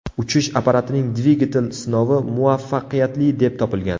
Uchish apparatining dvigatel sinovi muvaffaqiyatli deb topilgan.